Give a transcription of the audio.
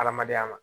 Adamadenya ma